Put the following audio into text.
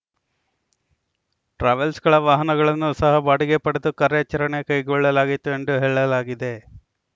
ಟ್ರಾವೆಲ್ಸ್‌ಗಳ ವಾಹನಗಳನ್ನು ಸಹ ಬಾಡಿಗೆ ಪಡೆದು ಕಾರ್ಯಾಚರಣೆ ಕೈಗೊಳ್ಳಲಾಗಿತ್ತು ಎಂದು ಹೇಳಲಾಗಿದೆ